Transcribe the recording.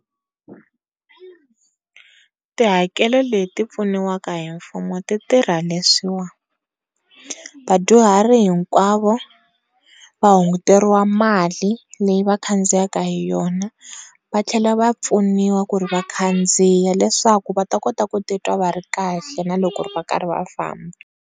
Ti hakelo leti pfuniwaka hi mfumo ti tirha leswiwa vadyuhari hinkwavo va hunguteriwa mali leyi va khandziyika hi yona va tlhela va pfuniwa ku ri va khandziya leswaku va ta kota ku titwa va ri kahle na loko va karhi va famba.